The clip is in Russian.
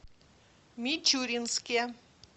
мичуринске